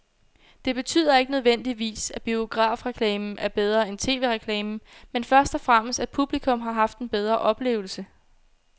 Det betyder ikke nødvendigvis, at biografreklamen er bedre end tv-reklamen, men først og fremmest at publikum har haft en bedre oplevelse.